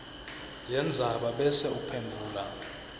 yendzaba bese uphendvula